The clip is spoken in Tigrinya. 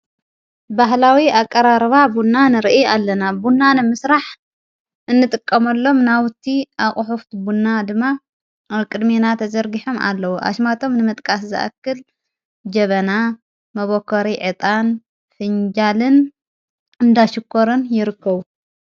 ባህላዊ ኣቀራርባ ቡና ንርኢ ። ኣለና ቡና ነምስራሕ እንጥቀመሎም ናውቲ ኣቝሑፍቲ ቡና ድማ ኣ ቅድሜና ተዘርጊሐም ኣለዉ ኣሽማቶም ንመጥቃስ ዝኣክል ጀበና መበኮሪ ዕጣን ፊንጃልን እንዳሽኮርን ይርክቡ።